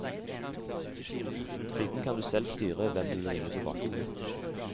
Siden kan du selv styre hvem du vil ringe tilbake til.